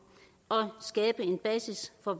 og skabe en basis for